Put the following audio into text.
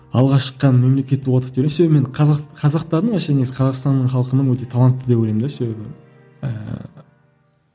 алғашқы мемлекеттік қазақ қазақтардың вообще несі қазақстанның халқының өте талантты деп ойлаймын да себебі ііі